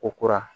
Ko kura